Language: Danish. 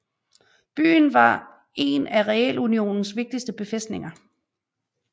Byen var en af realunionens vigtigste befæstninger